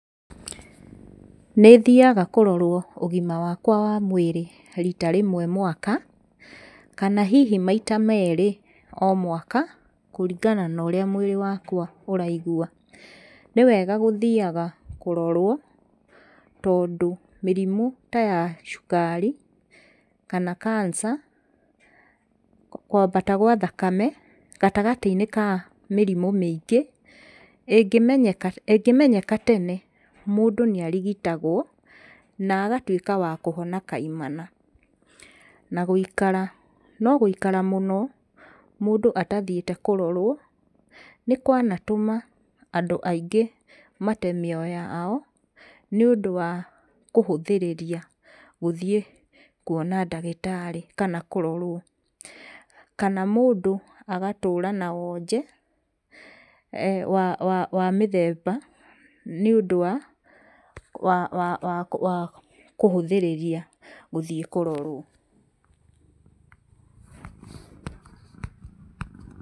Nĩthiaga kũrorwo ũgima wakwa wa mwĩrĩ rita rĩmwe mwaka, kana hihi maita merĩ o mwaka kũringana na ũrĩa mwĩrĩ wakwa ũraigua. Nĩwega gũthiaga kũrorwo tondũ mĩrimũ ta ya cukari kana cancer, kwambata gwa thakame gatagatĩ-inĩ ka mĩrimũ mĩingĩ, ĩngĩmenyeka, ĩngĩmenyeka tene mũndũ nĩarigitagwo na agatuĩka wa kũhona kaimana. Na gũikara, no gũikara mũno mũndũ atathiĩte kũrorwo nĩ kwanatũma andũ aingĩ mate mĩoyo yao nĩũndũ wa kũhũthĩrĩria gũthiĩ kuona ndagĩtarĩ kana kũrorwo. Kana mũndũ agatũũra na wonje wa, wa, wa mĩthemba nĩũndũ wa, wa, wa, wa, wa kũhũthĩrĩria gũthiĩ kũrorwo pause.